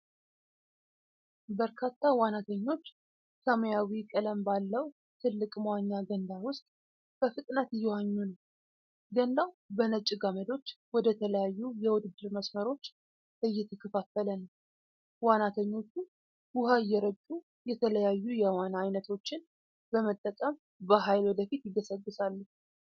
በርካታ ዋናተኞች ሰማያዊ ቀለም ባለው ትልቅ መዋኛ ገንዳ ውስጥ በፍጥነት እየዋኙ ነው። ገንዳው በነጭ ገመዶች ወደተለያዩ የውድድር መስመሮች የተከፋፈለ ነው። ዋናተኞቹ ውኃ እየረጩ የተለያዩ የዋና ዓይነቶችን በመጠቀም በኃይል ወደፊት ይገሰግሳሉ።